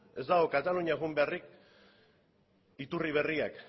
ez dago kataluniara joan beharrik iturri berriak